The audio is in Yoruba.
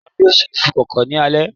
Ìyá mi yóò ṣe iṣu-kókò ní alẹ́